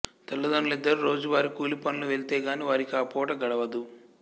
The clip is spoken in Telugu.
తల్లిదండ్రులిద్దరూ రోజువారీ కూలిపనులకు వెళితేగానీ వారికి ఆ పూట గడవదు